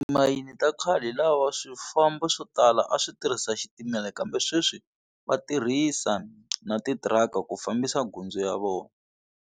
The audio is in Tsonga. Timayini ta khale hi lawa swifambo swo tala a swi tirhisa xitimela kambe sweswi va tirhisa na titiraka ku fambisa gundzu ya vona.